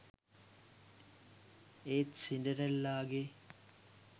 ඒත් සින්ඩරෙල්ලාගේ